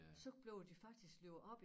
Så blev de faktisk livet op